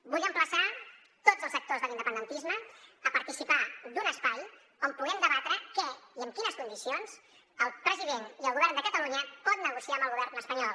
vull emplaçar tots els actors de l’independentisme a participar d’un espai on puguem debatre què i en quines condicions el president i el govern de catalunya poden negociar amb el govern espanyol